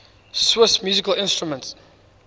swiss musical instruments